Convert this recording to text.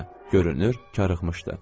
Görünür karıxmışdı.